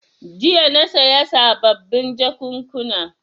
Jiya na saya sababin jakunkuna.